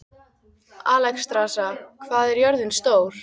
Alexstrasa, hvað er jörðin stór?